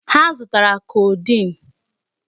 Ha zụtara codeine.